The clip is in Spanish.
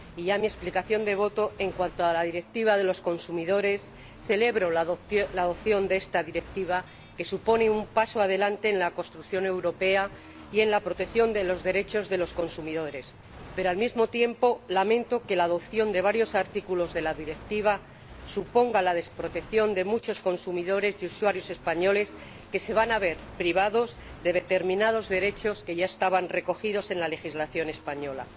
Y paso a mi explicación de voto en cuanto a la Directiva de los consumidores celebro la adopción de esta Directiva, que supone un paso adelante en la construcción europea y en la protección de los derechos de los consumidores pero, al mismo tiempo, lamento que la adopción de varios artículos de la Directiva suponga la desprotección de muchos consumidores y usuarios españoles que se van a ver privados de determinados derechos que ya estaban recogidos en la legislación española.